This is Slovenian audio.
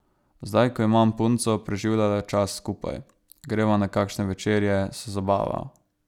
Zdaj ko imam punco, preživljava čas skupaj, greva na kakšne večerje, se zabavava.